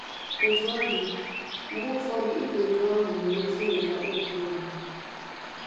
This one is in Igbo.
Otú ọ dị, mgbe ụfọdụ ịpụ otú ahụ nwere ike iweta obi iru ala.